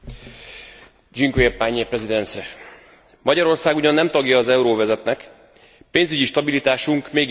Magyarország ugyan nem tagja az euróövezetnek, pénzügyi stabilitásunk mégis megelőzi jó néhány európai uniós tagországét.